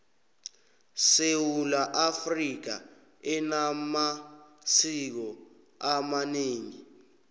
sewula afrika enamasiko amaneengi